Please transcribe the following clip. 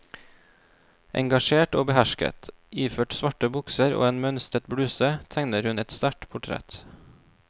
Engasjert og behersket, iført svarte bukser og en mønstret bluse tegner hun et sterkt portrett.